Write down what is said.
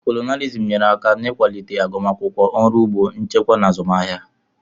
Kolonịalizim nyere aka n'ịkwalite agụmakwụkwọ, ọrụ ugbo, nchịkwa na azụmahịa.